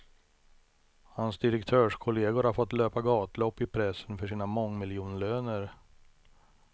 Hans direktörskollegor har fått löpa gatlopp i pressen för sina mångmiljonlöner.